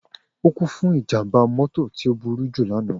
O ku fun ijamba mọto ti o buruju lana.